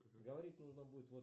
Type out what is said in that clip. говорить нужно будет